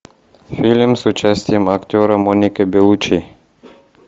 фильм с участием актера моника беллуччи